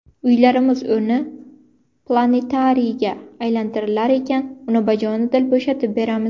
Uylarimiz o‘rni planetariyga aylantirilar ekan uni bajonidil bo‘shatib beramiz.